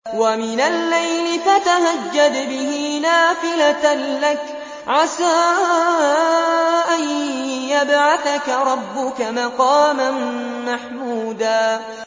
وَمِنَ اللَّيْلِ فَتَهَجَّدْ بِهِ نَافِلَةً لَّكَ عَسَىٰ أَن يَبْعَثَكَ رَبُّكَ مَقَامًا مَّحْمُودًا